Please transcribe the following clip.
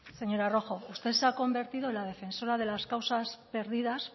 señora rojo usted se ha convertido en la defensora de las causas perdidas